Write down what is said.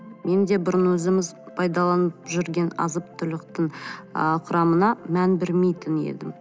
мен де бұрын өзіміз пайдаланып жүрген азық түліктің ы құрамына мән бермейтін едім